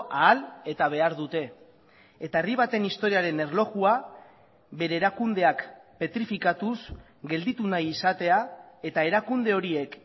ahal eta behar dute eta herri baten historiaren erlojua bere erakundeak petrifikatuz gelditu nahi izatea eta erakunde horiek